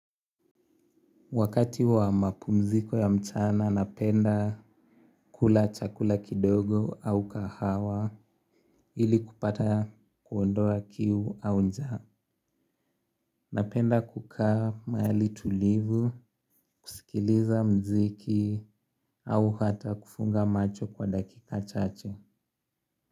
Wakati wa mapumziko ya mchana napenda kula chakula kidogo au kahawa ili kupata kuondoa kiu au njaa. Napenda kukaa mahali tulivu, kusikiliza muziki au hata kufunga macho kwa dakika chache.